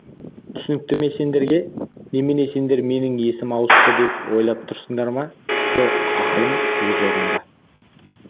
түсінікті ме сендерге немене сендер менің есім ауысты деп ойлап тұрсыңдар ма жоқ ақылым өз орнында